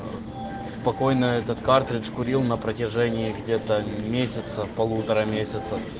спокойно этот картридж курил на протяжении где-то месяца полутора месяца